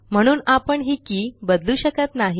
म्हणून आपण हि के बदलू शकत नाही